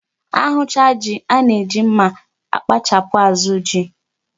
A hụcha ji, a na-eji mma akpachapụ azụ ji.